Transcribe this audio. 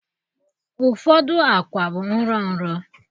Ụfọdụ akwa bụ nro nro